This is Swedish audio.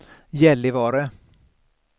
Gällivare